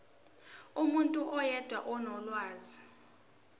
umuntu oyedwa onolwazi